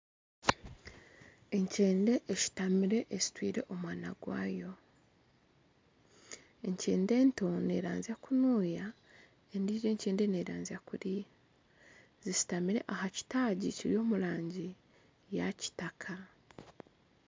Enkyende eshutamire eshutwire omwana gwayo, enkyende nto neeranzya kunuya endiijo enkyende neeranzya kuriya, zishutamire aha kitaagi kiri omu rangi yakitaka